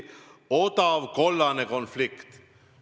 Odav kollane konflikt.